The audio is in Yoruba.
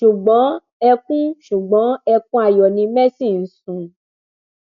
ṣùgbọn ẹkún ṣùgbọn ẹkún ayọ ni mercy ń sun